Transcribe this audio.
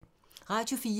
Radio 4